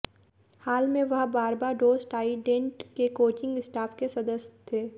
हाल में वह Barbados Trident के कोचिंग स्टाफ के सदस्य थे